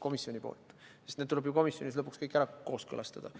komisjonilt heakskiitu – need kõik tuleb ju lõpuks komisjonis kooskõlastada.